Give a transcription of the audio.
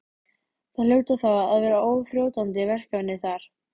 Það hljóta þá að vera óþrjótandi verkefni þar?